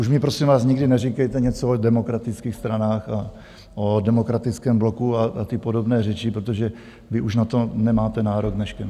Už mi prosím vás nikdy neříkejte něco v demokratických stranách a o demokratickém bloku a ty podobné řeči, protože vy už na to nemáte nárok dneškem!